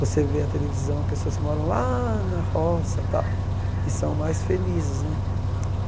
Você vê a televisão, pessoas que moram lá na roça e tal, e são mais felizes, né?